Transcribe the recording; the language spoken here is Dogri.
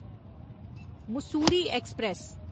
मुस्सूरी ऐक्सप्रैस